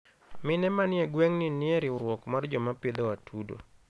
mine manie gwengni nie riwruok mar jomapidho atudo